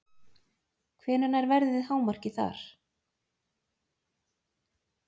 Hvenær nær veðrið hámarki þar?